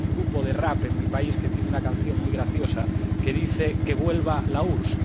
Hay un grupo de rap en mi país que tiene una canción muy graciosa que dice que vuelva la URSS.